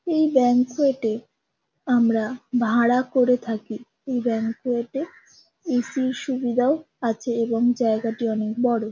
এই ব্যাংকুয়েট -এ আমরা ভাড়া করে থাকি। এই ব্যাংকুয়েট -এ এ.সি. -র সুবিধাও আছে এবং জায়গাটি অনেক বড়ো ।